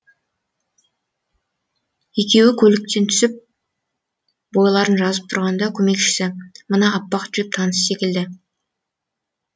екеуі көліктен түсіп бойларын жазып тұрғанда көмекшісі мына аппақ джип таныс секілді